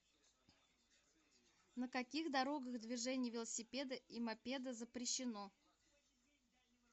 на каких дорогах движение велосипеда и мопеда запрещено